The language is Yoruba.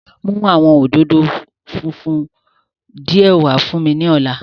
Mu awọn ododo funfun diẹ wa fun mi ni ọla